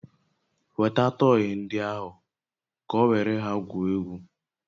Weta tọyị ndị ahụ ka o were ha gwuo egwu!